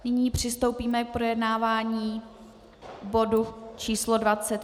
Nyní přistoupíme k projednávání bodu číslo